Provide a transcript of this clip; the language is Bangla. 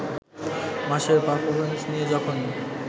মাসের পারফরমেন্স নিয়ে যখন